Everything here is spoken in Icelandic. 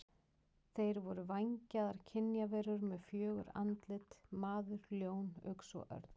Þeir voru vængjaðar kynjaverur með fjögur andlit: maður, ljón, uxi og örn.